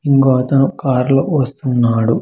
ఇంగో అతను కార్ లో వస్తున్నాడు.